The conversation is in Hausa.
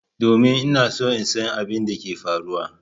Domin! Ina so in san abin da ke faruwa.